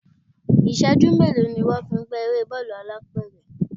Ìṣẹ́jú mélòó ni wón fi ń gbá eré bọ́ọ̀lù alápẹ̀rẹ̀?